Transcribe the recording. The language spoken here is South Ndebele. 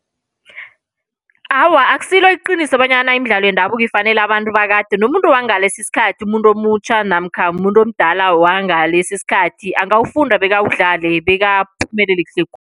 Awa, akusilo iqiniso bonyana imidlalo yendabuko ifanele abantu bakade. Nomuntu wangalesi isikhathi umuntu omutjha namkha muntu omdala wangalesi isikhathi, angawufunda bawudlale bekaphumelele kuhle khulu.